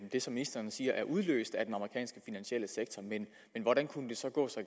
det som ministeren siger er udløst af den amerikanske finansielle sektor men hvordan kunne det så gå så